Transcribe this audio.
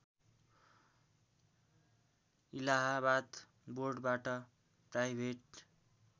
इलाहावाद बोर्डबाट प्राइभेट